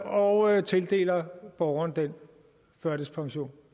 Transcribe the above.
og tildeler borgeren den førtidspension